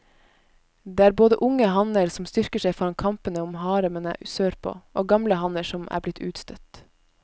Det er både unge hanner som styrker seg foran kampene om haremene sørpå, og gamle hanner som er blitt utstøtt.